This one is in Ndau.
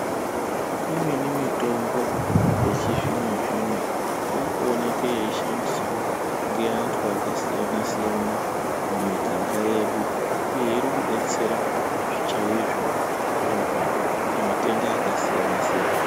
Imweni mitombo yechizvino-zvino, iri kuoneke yeishandiswa ngeantu akasiyana-siyana mumiganga yedu, Uye iri kudetsera chaizvo kurapa matenda akasiyana-siyana.